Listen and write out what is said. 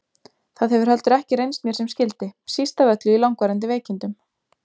Það hefur heldur ekki reynst mér sem skyldi, síst af öllu í langvarandi veikindum.